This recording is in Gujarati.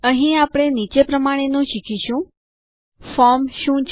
અહીં આપણે નીચે પ્રમાણેનું શીખીશું ફોર્મ શું છે